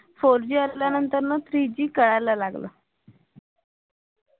four G आल्यानंतर ना three G कळायला लागलं